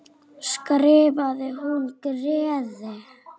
skrifar hún Gerði.